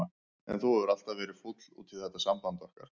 En þú hefur alltaf verið fúll út í þetta samband okkar.